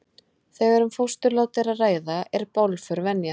þegar um fósturlát er að ræða er bálför venja